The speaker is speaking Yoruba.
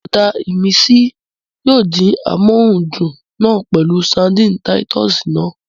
Bùrọ̀dá ìmísí yóò dín amóhundùn náà pẹ̀lú ṣadínnì táyítọ́sì náà